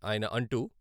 ఆయన అంటూ...